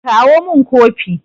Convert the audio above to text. kawo min Kofi!